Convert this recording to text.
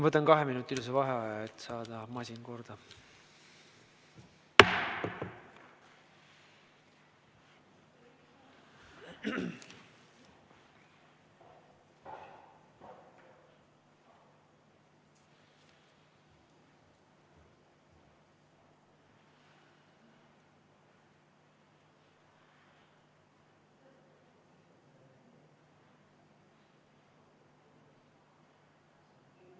Võtan kaheminutilise vaheaja, et saada masin korda.